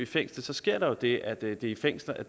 fængsel så sker der jo det at der i fængslerne